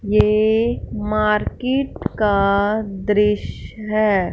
ये मार्केट का दृश्य है।